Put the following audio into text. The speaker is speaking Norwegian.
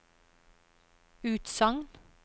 utsagn